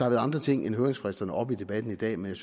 været andre ting end høringsfristerne oppe i debatten i dag men